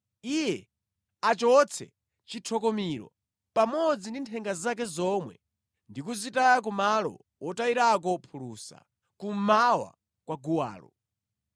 Iye achotse chithokomiro pamodzi ndi nthenga zake zomwe ndi kuzitaya ku malo wotayirako phulusa, kummawa kwa guwalo.